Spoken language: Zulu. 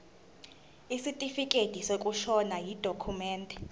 isitifikedi sokushona yidokhumende